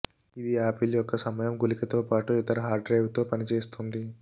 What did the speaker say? ఇది ఆపిల్ యొక్క సమయం గుళికతో పాటు ఇతర హార్డ్ డ్రైవ్లతో పనిచేస్తుంది